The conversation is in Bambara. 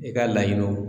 I ka laɲiniw